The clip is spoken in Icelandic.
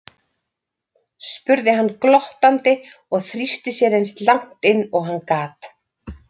spurði hann glottandi og þrýsti sér eins langt inn og hann gat.